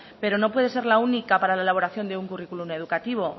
pero no puede ser la única para la elaboración de un currículo educativo